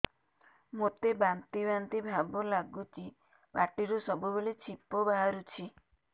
ମୋତେ ବାନ୍ତି ବାନ୍ତି ଭାବ ଲାଗୁଚି ପାଟିରୁ ସବୁ ବେଳେ ଛିପ ବାହାରୁଛି